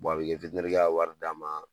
a b'i ka ka wari d'a ma